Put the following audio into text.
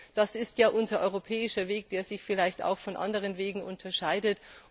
Das ist ja unser europäischer Weg, der sich vielleicht auch von anderen Wegen unterscheidet.